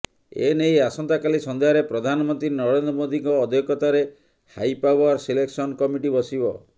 ଏନେଇ ଆସନ୍ତାକାଲି ସନ୍ଧ୍ୟାରେ ପ୍ରଧାନମନ୍ତ୍ରୀ ନରେନ୍ଦ୍ର ମୋଦିଙ୍କ ଅଧ୍ୟକ୍ଷତାରେ ହାଇପାୱାର ସିଲେକ୍ସନ କମିଟି ବସିବ